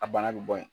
A bana bɛ bɔ yen